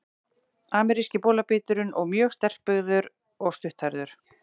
Ameríski bolabíturinn er mjög sterkbyggður og stutthærður.